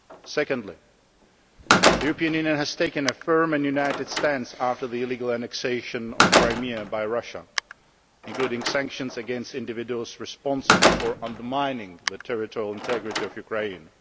Secondly, the European Union has taken a firm and united stance after the illegal annexation of Crimea by Russia, including sanctions against individuals responsible for undermining the territorial integrity of Ukraine.